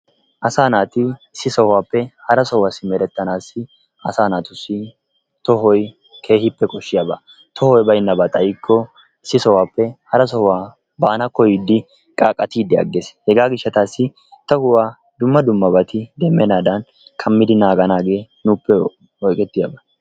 Asaa naati issi sohuwappe hara sohuwaa simeretanassi asaa naatussi tohoy keehippe kooshshiyaaba. toohoy baynnaba xaayikko issi sohuwaappe hara sohuwaa baana kooyyiidi qaaqattiidi aggees. hegaa gishshattasi tohuwaa dumma dummabati bochenaadan kaammidi naaganaagee nuupe oyqettiyaaga.